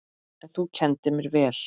En þú kenndir mér vel.